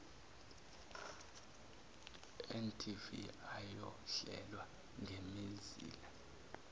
ntv ayohlelwa ngemizila